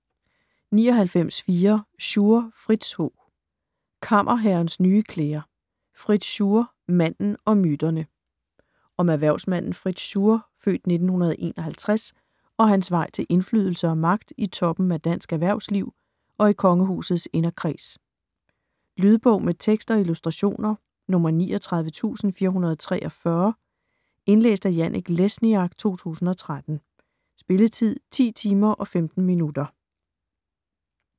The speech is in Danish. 99.4 Schur, Fritz H. Kammerherrens nye klæder: Fritz Schur - manden og myterne Om erhvervsmanden Fritz Schur (f. 1951) og hans vej til indflydelse og magt i toppen af dansk erhvervsliv og i kongehusets inderkreds. Lydbog med tekst og illustrationer 39443 Indlæst af Janek Lesniak, 2013. Spilletid: 10 timer, 15 minutter.